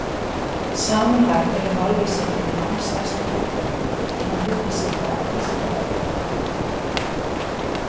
Samanlagt eru málvísindin langstærsti flokkurinn innan hugvísinda á Vísindavefnum.